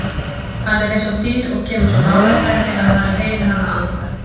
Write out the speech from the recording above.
Hann er eins og dýr og kemur svo nálægt henni að hann heyrir hana anda.